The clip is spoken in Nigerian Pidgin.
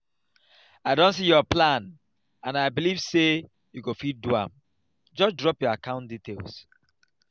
i don see your plan and i believe say you go fit do am. just drop your account details.